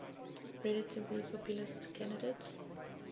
relatively populist candidate